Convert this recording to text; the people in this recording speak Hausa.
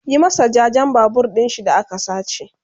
Yi masa jajen Babur ɗinshi da aka sace!